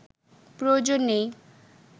প্রয়োজন নেই